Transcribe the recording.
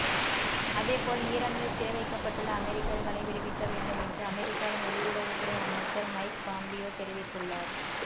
அதேபோல் ஈரானில் சிறை வைக்கப்பட்டுள்ள அமெரிக்கர்களை விடுவிக்க வேண்டும் என்று அமெரிக்காவின் வெளியுறவுத் துறை அமைச்சர் மைக் பாம்பியோ தெரிவித்துள்ளார்